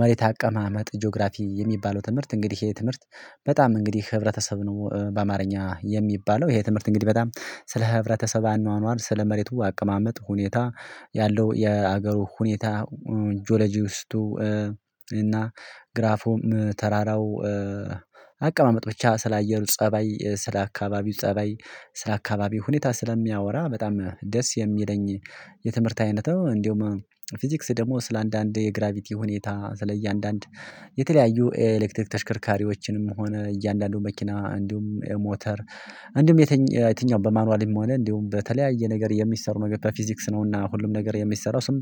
መሬት አቀማመጥ ጂኦግራፊ የሚባለው ትምህርት እንግዲህ የትምህርት በጣም እንግዲህ ህብረተሰብ ነው። በአማርኛ የሚባለው ይሄ ትምህርት እንግዲህ በጣም ስለ ህብረተሰብ አኗኗር ስለ መሬቱ አቀማመጥ ሁኔታ ያለው የሀገሩ ሁኔታ። ጆሎጂ ውስጥ እና ግራፎም ተራራው አቀማመጥ ብቻ ስላየሩ ፀባይ ስለአካባቢው ፀባይ ስለአካባቢው ሁኔታ ስለሚያወራ በጣም ደስ የሚለኝ። የትምህርት አይነት እንደውም ፊዚክስ ደግሞ ስለአንዳንድ የግራቪቲ ሁኔታ ስለእያንዳንድ የተለያዩ ኤሌክትሪክ ተሽከርካሪዎችንም ሆነ እያንዳንዱን መኪና እንዲሁም ሞተር እንዲሁም የትኛው በማኑዋሊም ሆነ እንዲሁም በተለያየ ነገር የሚሰሩ ነገር በፊዚክስ ነውና ሁሉም ነገር የሚሰሩ ስም